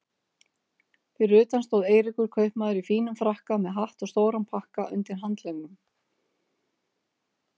Fyrir utan stóð Eiríkur kaupmaður í fínum frakka með hatt og stóran pakka undir handleggnum.